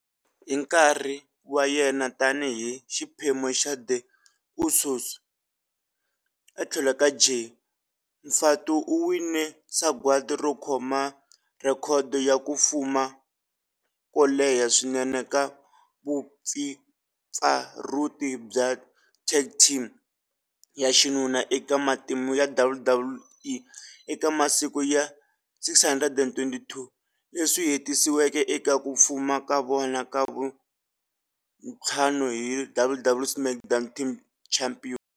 Hi nkarhi wa yena tani hi xiphemu xa The Usos, etlhelo ka Jey, Fatu uwine sagwadi ro khoma rhekhodo ya ku fuma ko leha swinene ka vumpfampfarhuti bya tag team ya xinuna eka matimu ya WWE eka masiku ya 622, leswi swi hetisisiweke eka ku fuma ka vona ka vuntlhanu hi WWE SmackDown Tag Team Championship.